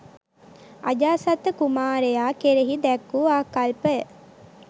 අජාසත්ත කුමාරයා කෙරෙහි දැක් වූ ආකල්පය